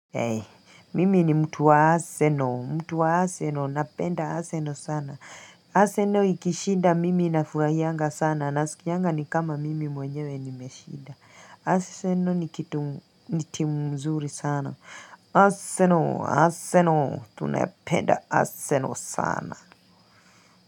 Hei mimi ni mtu wa aseno mtu wa aseno napenda aseno sana aseno ikishinda mimi nafuraianga sana nasikianga ni kama mimi mwenyewe nimeshinda aseno ni kitu ni timu mzuri sana aseno aseno tunaependa aseno sana.